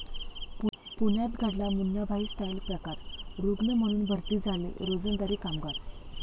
पुण्यात घडला 'मुन्नाभाई' स्टाईल प्रकार, रुग्ण म्हणून भरती झाले रोजंदारी कामगार